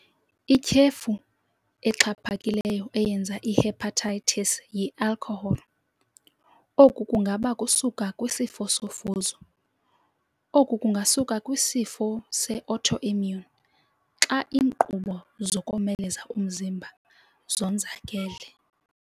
Ityhefu exhaphakileyo eyenza ihepatitis yi"alcohol". Oku kungaba kusuka kwisifosofuzo. oku kungasuka kwisifo seautoimmune xa inkqubo zokomeleza umzimba zonzakeli.